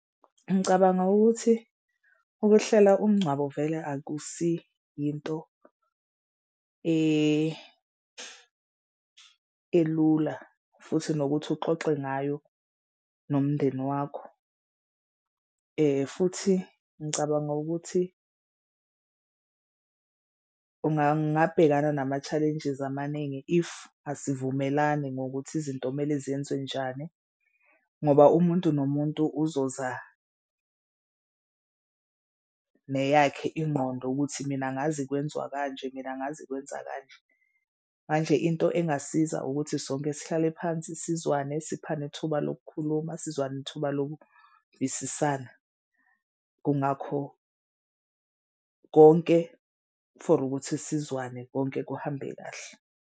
Ngicabanga ukuthi ukuhlela umngcwabo vele akusiyinto elula futhi nokuthi uxoxe ngayo nomndeni wakho. Futhi ngicabanga ukuthi ngabhekana nama-challenges amaningi if asivumelani ngokuthi izinto kumele zenzwe njani, ngoba umuntu nomuntu uzoza neyakhe ingqondo ukuthi mina angazi kwenziwa kanje mina angazi kwenza kanje. Manje into engasiza ukuthi sonke sihlale phansi sizwane siphana ithuba lokukhuluma sizwane thuba lokuvisisana. Kungakho konke for ukuthi sizwane konke kuhambe kahle.